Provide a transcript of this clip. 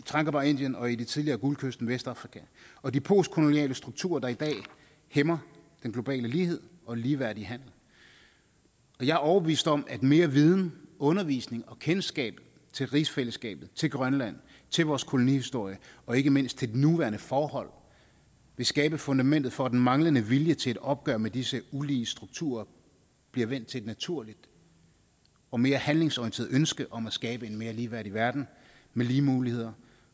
tranquebar indien og i det tidligere guldkysten i vestafrika og de postkoloniale strukturer der i dag hæmmer den globale lighed og ligeværdig handel jeg er overbevist om at mere viden undervisning og kendskab til rigsfællesskabet til grønland til vores kolonihistorie og ikke mindst til de nuværende forhold vil skabe fundamentet for at den manglende vilje til et opgør med disse ulige strukturer bliver vendt til et naturligt og mere handlingsorienteret ønske om at skabe en mere ligeværdig verden med lige muligheder